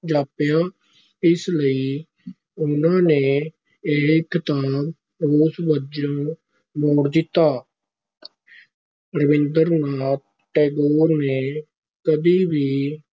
ਜਾਪਿਆ, ਇਸ ਲਈ ਉਹਨਾਂ ਨੇ ਇਹ ਖਿਤਾਬ ਰੋਸ ਵਜੋਂ ਮੋੜ ਦਿੱਤਾ ਰਾਬਿੰਦਰ ਨਾਥ ਟੈਗੋਰ ਨੇ ਕਦੇ ਵੀ